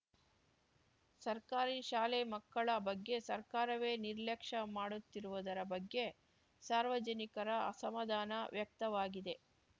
ಸರ್ಕಾರಿ ಶಾಲೆ ಮಕ್ಕಳ ಬಗ್ಗೆ ಸರ್ಕಾರವೇ ನಿರ್ಲಕ್ಷ್ಯ ಮಾಡುತ್ತಿರುವುದರ ಬಗ್ಗೆ ಸಾರ್ವಜನಿಕರ ಅಸಮಾಧಾನ ವ್ಯಕ್ತವಾಗಿದೆ